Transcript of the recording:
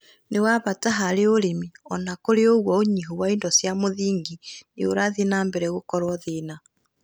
nĩ wa bata harĩ ũrĩmi. Ona kũrĩ o ũguo, ũnyihu wa indo cia mũthingi nĩ ũrathie na mbere gũkorũo thĩna,